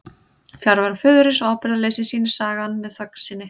Fjarveru föðurins og ábyrgðarleysi sýnir sagan með þögn sinni.